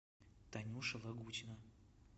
танюша лагутина